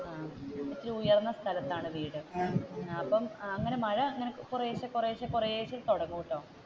ഇച്ചിരി ഉയർന്ന സ്ഥലത്താണ് വീട് ആ അപ്പം അങ്ങനെ മഴ കുറയിഷേ കുറയിഷേ കുറയിഷേ തുടങ്ങുമട്ടൊ.